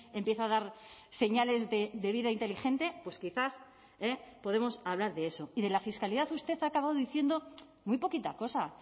empieza a dar señales de vida inteligente pues quizás podemos hablar de eso y de la fiscalidad usted ha acabado diciendo muy poquita cosa